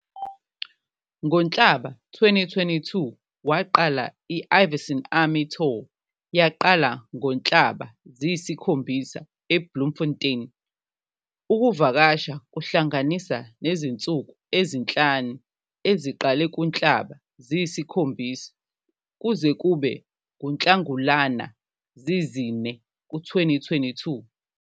NgoNhlaba 2022, waqala i-Ivyson Army Tour yaqala ngoNhlaba 7, Bloemfontein, ukuvakasha kuhlanganisa nezinsuku ezi-5 eziqale kuNhlaba 7 kuze kube nguNhlangulana 4, 2022.